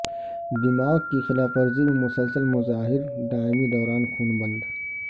دماغ کی خلاف ورزی میں مسلسل مظاہر دائمی دوران خون بن